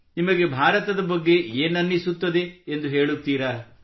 ನಿಮಗೆ ಭಾರತದ ಬಗ್ಗೆ ಏನನ್ನಿಸುತ್ತದೆ ಎಂದು ಹೇಳುತ್ತೀರಾ